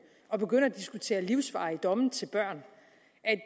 og begynde at diskutere livsvarige domme til børn